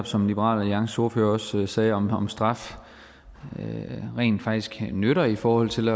som liberal alliances ordfører netop også sagde om om straf rent faktisk nytter i forhold til